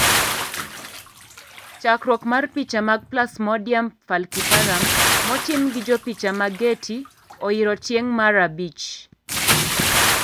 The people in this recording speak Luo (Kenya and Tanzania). Chakruok mar picha mag plasmodium falciparum motim gi jopicha ma Getty oyiro tieng' mar rh abich.